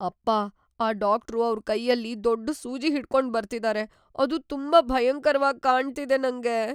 ಅಪ್ಪಾ,‌ ಆ ಡಾಕ್ಟ್ರು ಅವ್ರ್ ಕೈಯಲ್ಲಿ ದೊಡ್ಡು ಸೂಜಿ ಹಿಡ್ಕೊಂಡ್ ಬರ್ತಿದಾರೆ. ಅದು ತುಂಬಾ ಭಯಂಕರ್ವಾಗ್ ಕಾಣ್ತಿದೆ ನಂಗೆ.